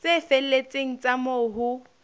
tse felletseng tsa moo ho